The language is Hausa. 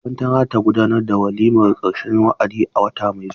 Makaranta na za ta gudanar da waliman karshen wa'adi a wata mai zuwa.